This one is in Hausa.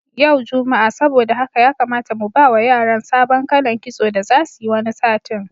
Ya jumma'a saboda haka ya kamata mu bawa yaran sabon kalan kitso da zasu yi wani satin.